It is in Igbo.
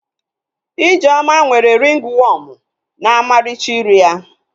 Ijeoma nwere ringi wọọmụ na ọmarịcha iru ya